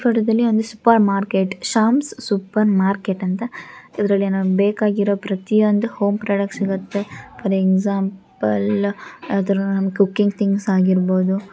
ಈ ಫೋಟೋದ ಲ್ಲಿ super market Sham super market ಅಂತ ಇದರಲ್ಲಿ ನಮಗೆ ಬೇಕಾಗಿರುವ ಪ್ರತಿಯೊಂದು ಹೋಂ ಪ್ರಾಡಕ್ಟ್ ಸಿಗುತ್ತೆ ಫ಼ಾರ್ ಎಕ್ಸಾಂಪಲ್ ಯಾವ್ದಾದ್ರೂ ಕುಕಿಂಗ್ ಥಿಂಗ್ಸ್ ಆಗಿರಬಹುದು.